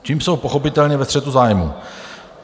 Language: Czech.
Tím jsou pochopitelně ve střetu zájmů.